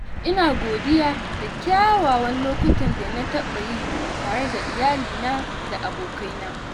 Ina godiya da kyawawan lokutan da na taɓa yi tare da iyalina da abokaina.